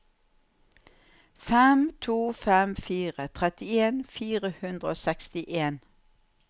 fem to fem fire trettien fire hundre og sekstien